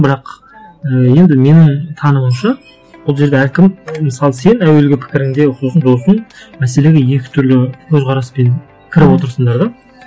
бірақ ыыы енді менің тануымша бұл жерде әркім мысалы сен әуелгі пікіріңде сосын досың мәселеге екі түрлі көзқараспен кіріп отырсыңдар да